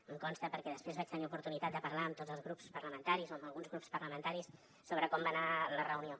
em consta perquè després vaig tenir oportunitat de parlar amb tots els grups parlamentaris o amb alguns grups parlamentaris sobre com va anar la reunió